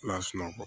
N'a sunɔgɔ